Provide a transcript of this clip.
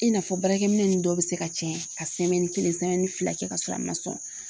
I n'a fɔ baarakɛminɛn ninnu dɔw bɛ se ka tiɲɛ ka kelen fila kɛ ka sɔrɔ a ma sɔn